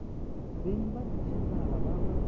beng ba dijanaga ba ba